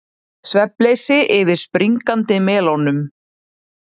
Svefnleysi yfir springandi melónum